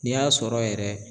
N'i y'a sɔrɔ yɛrɛ